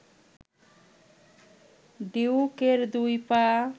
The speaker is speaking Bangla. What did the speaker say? ডিউকের দুই পা